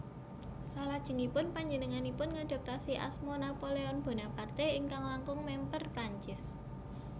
Salajengipun panjenenganipun ngadhaptasi asma Napoléon Bonaparte ingkang langkung mèmper Prancis